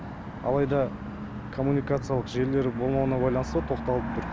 алайда коммуникациялық желілердің болмауына байланысты тоқталып тұр